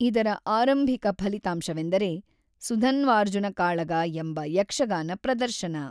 ಇದರ ಆರಂಭಿಕ ಫಲಿತಾಂಶವೆಂದರೆ "ಸುಧನ್ವಾರ್ಜುನ ಕಾಳಗ" ಎಂಬ ಯಕ್ಷಗಾನ ಪ್ರದರ್ಶನ.